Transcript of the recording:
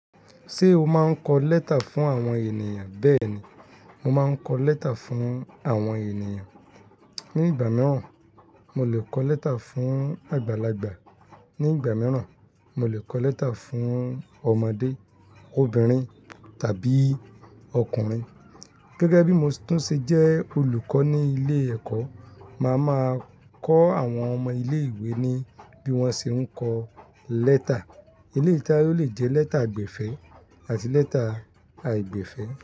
Ṣé o máa ń kọ lẹ́tà fún àwọn ènìyàn? Bẹ́ẹ̀ ni, mo máa ń kọ lẹ́tà fún àwọn ènìyàn. Ni ìgbà mìíràn, mo lè kọ lẹ́tà fún àgbàlagbà, ní ìgbà mìíràn, mo lè kọ lẹ́tà fún ọmọdé, obìnrin tàbí ọkùnrin. Gẹ́gẹ́ bí mo tún ṣe jẹ́ olùkọ́ ní ilé ẹ̀kọ́, màá máa kọ àwọn ọmọ ilé ìwé ní bí wọ́n ṣe ń kọ lẹ́tà. Eléyi to je pe o lè jẹ́ lẹ́tà àgbèfẹ̀ àti lẹ́tà àìgbẹ̀fẹ̀